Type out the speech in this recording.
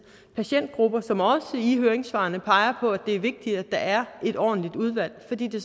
patientgrupper som også i høringssvarene peger på at det er vigtigt at der er et ordentligt udvalg fordi det